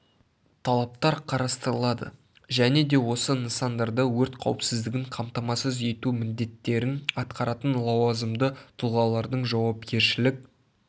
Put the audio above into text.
талаптар қарастырылады және де осы нысандарда өрт қауіпсіздігін қамтамасыз ету міндеттерін атқаратын лауазымды тұлғалардың жауапкершілік